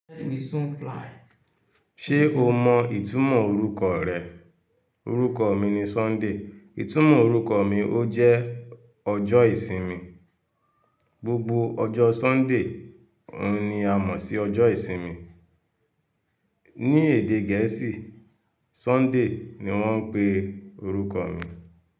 Ṣé o mọ ìtumọ̀ orúkọ rẹ? Òrúkọ mi ni Sunday, ìtumọ̀ orúkọ mi ó jẹ́ ọjọ́ ìsinmi. Gbogbo ọjọ́ Sunday oun a mọ̀ sí ọjọ́ ìsinmi. Ní èdè Gẹ̀ẹ́sì, Sunday ni wọ́n ń pe orúkọ mi.